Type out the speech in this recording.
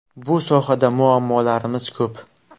Bu sohada muammolarimiz ko‘p.